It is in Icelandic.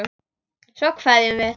Svo kveðjum við.